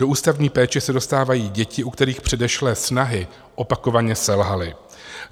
Do ústavní péče se dostávají děti, u kterých předešlé snahy opakovaně selhaly.